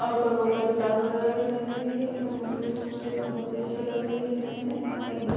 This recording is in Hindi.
और ऊपर बहुत सारे तार वगैरह भी लगी हुई है और यह बहुत ही खूबसूरत और बहुत ही अच्छी लग रही है दिखने में औ